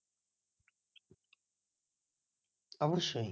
অবসসই